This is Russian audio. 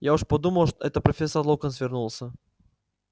я уж подумал это профессор локонс вернулся